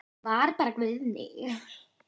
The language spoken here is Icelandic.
Þetta var bara Guðný.